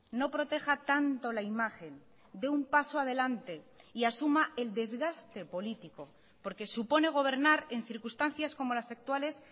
no proteja tanto la imagen dé un paso adelante y asuma el desgaste político porque supone gobernar en circunstancias como las actuales